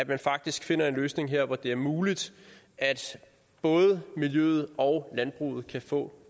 man faktisk finder en løsning her hvor det er muligt at både miljøet og landbruget kan få